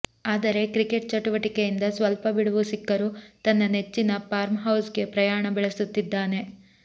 ಆದರೆ ಕ್ರಿಕೆಟ್ ಚಟುವಟಿಕೆಯಿಂದ ಸ್ವಲ್ಪ ಬಿಡುವು ಸಿಕ್ಕರು ತನ್ನ ನೆಚ್ಚಿನ ಫಾರ್ಮ್ ಹೌಸ್ ಗೆ ಪ್ರಯಾಣ ಬೆಳೆಸುತ್ತಿದ್ದಾನೆ